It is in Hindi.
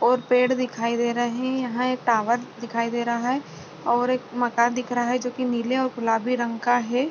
और पेड़ दिखाई दे रहे हैं यहां एक टावर दिखाई दे रहा है और मकान दिख रहा है जो कि नीले और गुलाबी रंग का है।